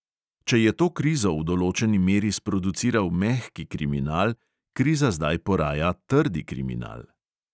Če je to krizo v določeni meri sproduciral mehki kriminal, kriza zdaj poraja trdi kriminal.